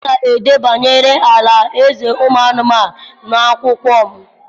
m ga-ede banyere ala-eze anụmanụ n’akwụkwọ m.